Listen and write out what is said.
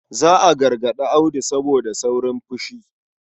Za a gargarɗi Audu saboda saurin fushi.